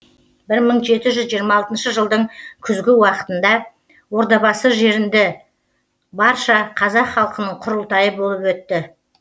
бір мың жеті жүз жиырма алтыншы жылдың күзгі уақытында ордабасы жерінді барша қазақ халқының құрылтайы болып өтті